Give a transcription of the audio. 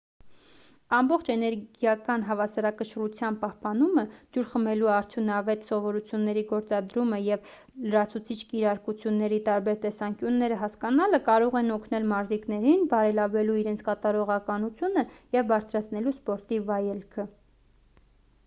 առողջ էներգիական հավասարակշռության պահպանումը ջուր խմելու արդյունավետ սովորությունների գործադրումը և լրացուցիչ կիրարկությունների տարբեր տեսանկյունները հասկանալը կարող են օգնել մարզիկներին բարելավելու իրենց կատարողականությունը և բարձրացնելու սպորտի վայելքը